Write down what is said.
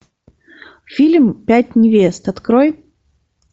фильм пять невест открой